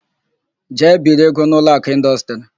Jee biri ego n' Ụlọakụ Ịndọstrị!